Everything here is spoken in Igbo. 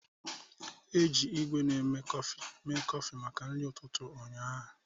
Eji igwé na-eme kọfị mee kọfị maka nri ụtụtụ ụnyaahụ.